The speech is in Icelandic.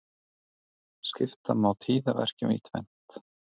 Skipta má tíðaverkjum í tvennt.